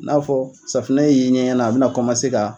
N'a fɔ safinɛ ye ɲɛɲɛn na a bɛna ka